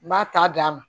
N b'a ta d'a ma